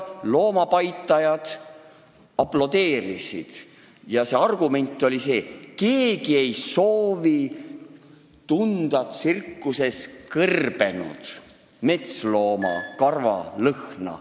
Loomapaitajad aplodeerisid üleval ja argument oli see, et keegi ei soovi tsirkuses tunda kõrbenud metsloomakarvade lõhna.